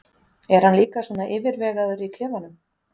Er hann líka svona yfirvegaður í klefanum?